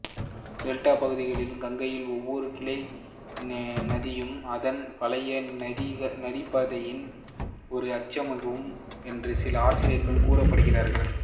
delta பகுதியிலுள்ள கங்கையின் ஒவ்வொரு கிளை நதியும் அதன் பழைய நதிப்பாதையின் ஓர் எச்சமாகும் என்று சில ஆசிரியர்கள் குறிப்பிடுகிறார்கள்